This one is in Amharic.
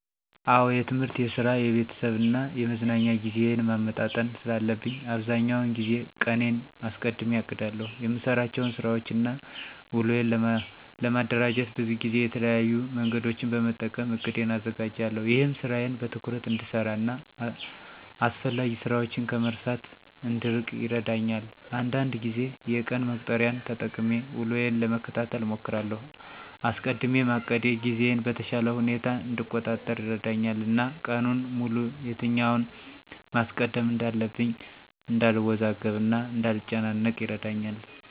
አዎ የትምህርት፣ የስራ፣ የቤተሰብ እና የመዝናኛ ጊዜዬን ማመጣጠን ስላለብኝ አብዛኛውን ጊዜ ቀኔን አስቀድሜ አቅዳለሁ። የምሰራቸውን ስራወችን እና ውሎዬን ለማደራጀት ብዙ ጊዜ የተለያዩ መንገዶችን በመጠቀም እቅዴን አዘጋጃለሁ። ይህም ስራዬን በትኩረት እንድሰራ እና አስፈላጊ ስራችን ከመርሳት እንድንርቅ ይረዳኛል። አንዳንድ ጊዜ የቀን መቁጠሪያን ተጠቅሜ ውሎዬን ለመከታተል እሞክራለሁ። አስቀድሜ ማቀዴ ጊዜዬን በተሻለ ሁኔታ እንድቆጣጠር ይረዳኛል እና ቀኑን ሙሉ የትኛውን ማስቀደም እንዳለብኝ እንዳልወዛገብ እና እንዳልጨናነቅ ይረዳኛል።